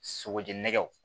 Sogo jɛn nɛgɛw